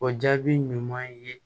O jaabi ɲuman ye